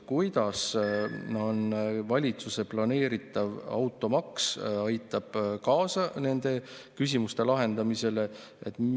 Kuidas valitsuse planeeritav automaks aitab kaasa nende küsimuste lahendamisele?